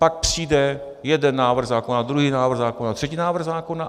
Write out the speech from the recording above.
Pak přijde jeden návrh zákona, druhý návrh zákona, třetí návrh zákona.